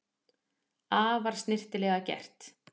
Afar snyrtilega gert